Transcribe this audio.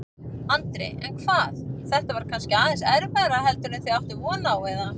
Andri: En hvað, þetta var kannski aðeins erfiðara heldur en þið áttuð von á, eða?